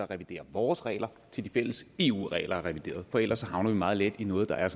revidere vores regler til de fælles eu regler er revideret for ellers havner vi meget let i noget der er